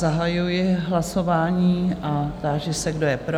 Zahajuji hlasování a táži se, kdo je pro?